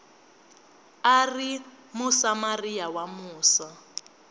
a ri musamariya wa musa